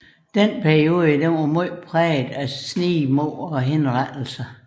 Denne periode var særlig præget af snigmord og henrettelser